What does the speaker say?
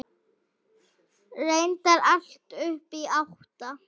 Reyndar allt upp í átta.